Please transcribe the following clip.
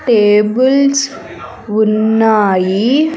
Tables ఉన్నాయి.